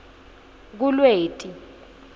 kulweti